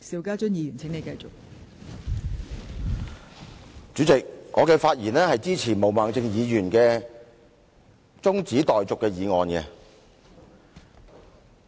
代理主席，我發言支持毛孟靜議員提出的中止待續議案。